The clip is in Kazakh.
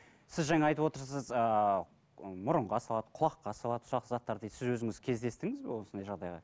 сіз жаңа айтып отырсыз ыыы мұрынға салады құлаққа салады ұсақ заттар дейді сіз өзіңіз кездестіңіз бе осындай жағдайға